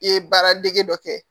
I ye baara dege dɔ kɛ